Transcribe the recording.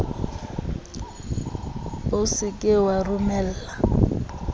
o se ke wa romella